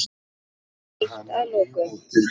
Eitt að lokum.